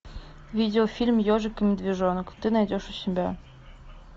видеофильм ежик и медвежонок ты найдешь у себя